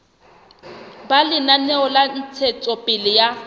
ba lenaneo la ntshetsopele ya